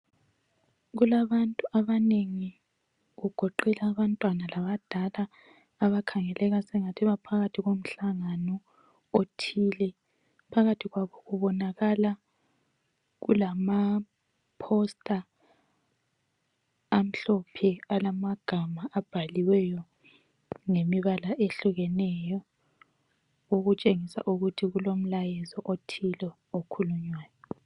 Kulabantu abanengi kugoqela abantwana labadala ,abakhangeleka sengathi baphakathi komuhlangano othile .Phakathi kwabo kubonakala kulama posita amhlophe alamagama abhaliweyo ngemibala ehlukeneyo okutshengisa ukuthi kulomlayezo othile okhulunywayo .